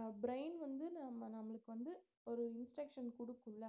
அஹ் brain வந்து நம்ம நம்மளுக்கு வந்து ஒரு instruction குடுக்கும்ல